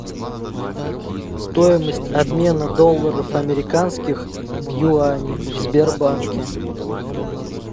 стоимость обмена долларов американских в юани в сбербанке